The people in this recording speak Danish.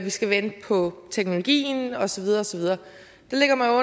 skal vente på teknologien og så videre og så videre der ligger man